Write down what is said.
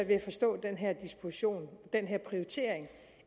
ved at forstå den her disposition den her prioritering